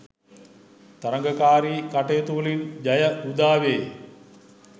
තරගකාරී කටයුතුවලින් ජය උදාවේ.